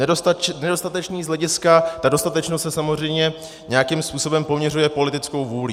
Nedostatečný z hlediska - ta dostatečnost se samozřejmě nějakým způsobem poměřuje politickou vůlí.